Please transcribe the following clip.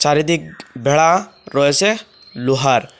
আর এদিক বেড়া রয়েসে লোহার।